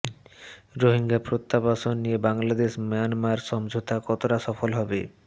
রোহিঙ্গা প্রত্যাবাসন নিয়ে বাংলাদেশ মিয়ানমার সমঝোতা কতটা সফল হবে